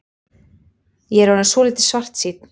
Ég er orðinn svolítið svartsýnn.